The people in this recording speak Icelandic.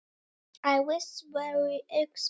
Það var mjög óvænt.